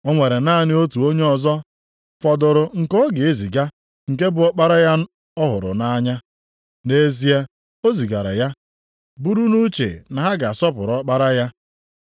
“O nwere naanị otu onye ọzọ fọdụrụ nke ọ ga-eziga, nke bụ ọkpara ya ọ hụrụ nʼanya. Nʼikpeazụ o zigara ya, buru nʼuche na ha ga-asọpụrụ ọkpara ya.